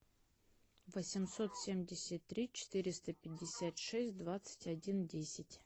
восемьсот семьдесят три четыреста пятьдесят шесть двадцать один десять